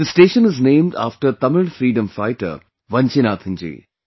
This station is named after Tamil freedom fighter Vanchinathan ji